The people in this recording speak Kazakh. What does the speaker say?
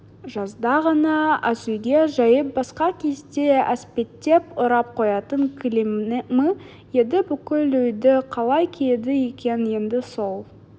жазда ғана асүйге жайып басқа кезде әспеттеп орап қоятын кілемі еді бүкіл үйді қалай қиды екен енді сол